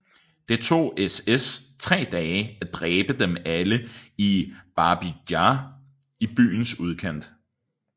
Det tog SS tre dage at dræbe dem alle i Babij Jar i byens udkant